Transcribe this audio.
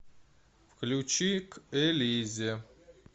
включи к элизе